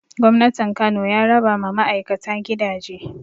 Gwamnatin Kano ya raba ma ma'aikata gidaje